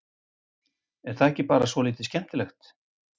Er það ekki bara svolítið skemmtilegt?